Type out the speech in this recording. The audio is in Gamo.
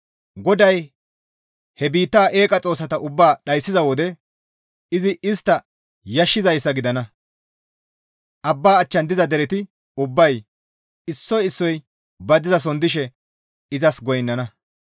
GODAY he biitta eeqa xoossata ubbaa dhayssiza wode izi istta yashissizayssa gidana; Abba achchan diza dereti ubbay issoy issoy ba dizason dishe izas goynnana.